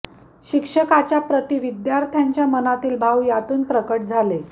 शिक्षकाची प्रति विद्यार्थ्यांच्या मनातील भाव यातून प्रकट झाले